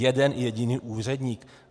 Jeden jediný úředník?